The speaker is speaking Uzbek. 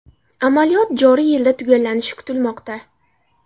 Amaliyot joriy yilda tugallanishi kutilmoqda.